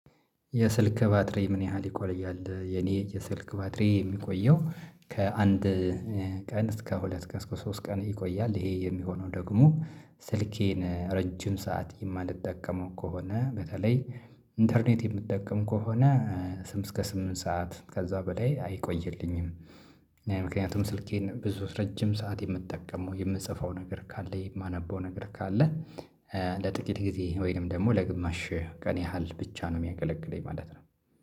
የስልክ ባትሪ ምን ያህል ይቆያል? የኔ የስልክ ባትሪ የሚቆየው ከአንድ ቀን እስከ ሁለት ቀን ሶስት ቀን ይቆያል። ይሄ የሚሆነው ደግሞ ስልኬን ረጅም ሰዓት የማልጠቀመው ከሆነ በተለይ ኢንተርኔት የምትጠቀም ከሆነ ስም እስከ ስምንት ሰዓት ከዛ በላይ አይቆይልኝም። ምክንያቱም ስልኬን ብዙ ረጅም ሰዓት የምጠቀመው የምጽፈው ነገር ካለኝ እማነበው ነገር ካለ ኧ ለጥቂት ጊዜ ወይንም ደግሞ ለግማሽ ቀን ያህል ብቻ ነው የሚያገለግለኝ ማለት ነው